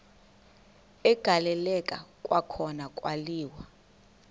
agaleleka kwakhona kwaliwa